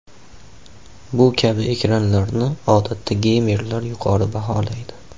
Bu kabi ekranlarni odatda geymerlar yuqori baholaydi.